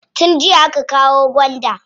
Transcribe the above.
Tun jiya aka kawo gwanda.